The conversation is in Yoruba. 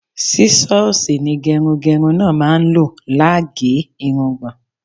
Sísọ́ọlsì ni gẹrungẹrun náà máa ń lò lá ge irungbọ̀n.